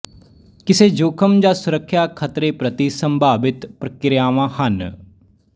ਕਿਸੇ ਜੋਖਮ ਜਾਂ ਸੁਰੱਖਿਆ ਖਤਰੇ ਪ੍ਰਤੀ ਸੰਭਾਵਿਤ ਪ੍ਰਤੀਕ੍ਰਿਆਵਾਂ ਹਨ